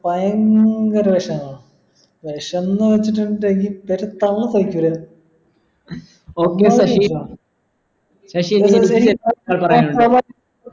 ഭയങ്കര വിഷമാ വിഷംന്ന് വെച്ചിട്ടുണ്ടെങ്കിൽ